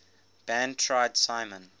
band tried simon